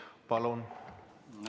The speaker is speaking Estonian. Palun!